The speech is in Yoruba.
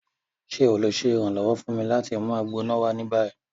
Ṣe o le ṣe iranlọwọ fun mi lati mu Agbona wa ni bayi?